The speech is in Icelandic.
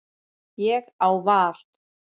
Ég á val.